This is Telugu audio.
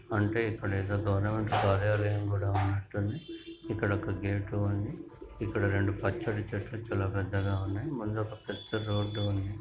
అంటే ఇక్కడేదో గవర్నమెంట్ కార్యాలయం కూడా ఉన్నట్టుంది. ఇక్కడొక గేటు ఉంది. ఇక్కడ రెండు పచ్చటి చెట్లు చాలా పెద్దగా ఉన్నయ్. ముందొక పెద్ద రోడ్డు ఉంది.